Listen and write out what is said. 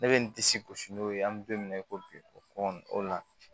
Ne bɛ n disi gosi n'o ye an bɛ don min na i ko bi kɔnɔntɔn o la